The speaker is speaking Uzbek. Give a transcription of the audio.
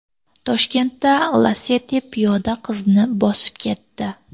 Toshkentda Lacetti piyoda qizni bosib ketdi.